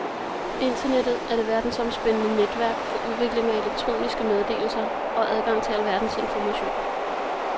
Internettet er det verdensomspændende netværk for udveksling af elektroniske meddelelser og adgang til alverdens information.